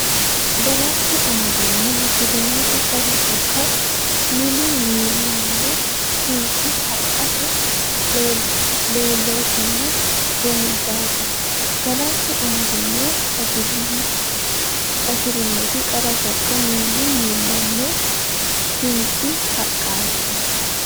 Galashshu amadino hasi rinoti qara sokka miilu miilaho sinqi haqqete laalootinna rumuddate Galashshu amadino hasi rinoti qara sokka miilu miilaho sinqi haqqete.